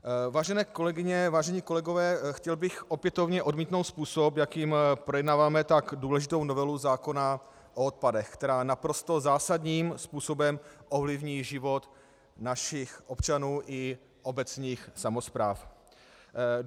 Vážené kolegyně, vážení kolegové, chtěl bych opětovně odmítnout způsob, jakým projednáváme tak důležitou novelu zákona o odpadech, která naprosto zásadním způsobem ovlivní život našich občanů i obecních samospráv.